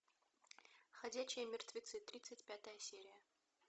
ходячие мертвецы тридцать пятая серия